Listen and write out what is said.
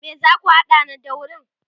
me zaku hada na daurin?